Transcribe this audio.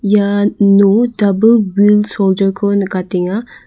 iano dabil wil shoulder -ko nikatenga.